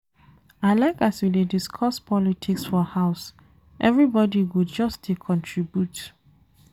I like as we dey discuss politics for house, everybodi go just dey contribute.